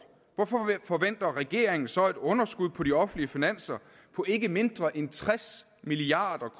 hvorfor forventer regeringen så et underskud på de offentlige finanser på ikke mindre end tres milliard